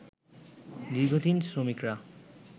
দীর্ঘদিন শ্রমিকরা